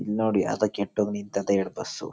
ಇಲ್ಲಿ ನೋಡಿ ಯಾವದೋ ಕೆಟ್ಟೋಗಿ ನಿಂತಿದೆ ಎರಡ್ ಬಸ್ಸು .--